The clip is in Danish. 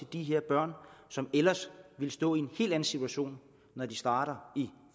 de børn som ellers ville stå i en helt anden situation når de starter i